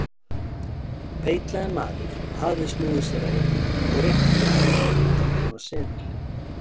Feitlaginn maður hafði snúið sér að Emil og rétti að honum hundrað-króna seðil.